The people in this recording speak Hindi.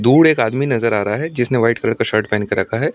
दूर एक आदमी नजर आ रहा हैं। जिसने व्हाइट कलर का शर्ट पहन कर रखा हैं।